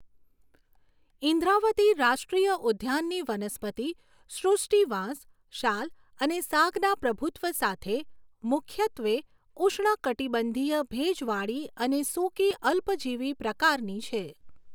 ઇન્દ્રાવતી રાષ્ટ્રીય ઉદ્યાનની વનસ્પતિ સૃષ્ટિ વાંસ, શાલ અને સાગના પ્રભુત્વ સાથે મુખ્યત્વે ઉષ્ણકટિબંધીય ભેજવાળી અને સૂકી અલ્પજીવી પ્રકારની છે